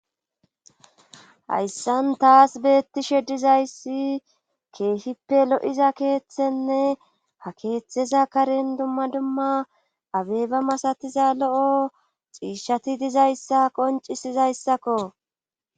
hayssan taas beettishe dizayssi keehippe lo7iza keeththenne ha keeththeza karen dumma dumma abeba masatiza lo7o xiishshati dizayssa qoncisizayssakko